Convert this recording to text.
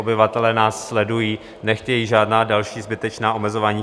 Obyvatelé nás sledují, nechtějí žádná další zbytečná omezování.